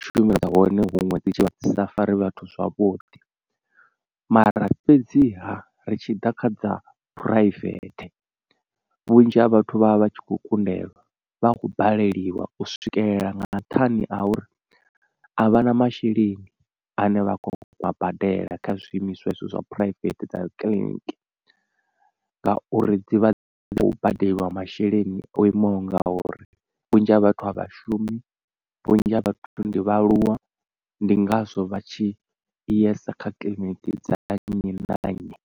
tshumelo dza hone huṅwe dzi tshivha dzi sa fari vhathu zwavhuḓi, mara fhedziha ri tshi ḓa kha dza private vhunzhi ha vhathu vha vha vha tshi kho kundelwa. Vha khou baleliwa u swikelela nga nṱhani a uri a vha na masheleni ane vha kona u a badela kha zwiimiswa hezwo zwa private dza kiḽiniki ngauri dzivha dzi khou badeliwa masheleni o imaho nga uri. Vhunzhi ha vhathu a vha shumi vhunzhi ha vhathu ndi vhaaluwa ndi ngazwo vha tshi yesa kha kiḽiniki dza nnyi na nnyi.